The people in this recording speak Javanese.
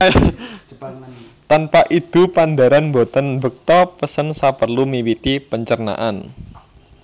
Tanpa idu padharan boten mbekta pesen saperlu miwiti pencernaan